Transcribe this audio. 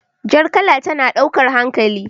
Jar kala tana daukar hankali.